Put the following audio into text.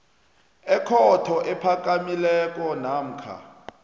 ekhotho ephakamileko namkha